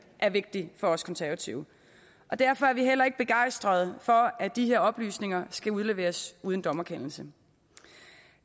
er vigtig for os konservative og derfor er vi heller ikke begejstrede for at de her oplysninger skal udleveres uden dommerkendelse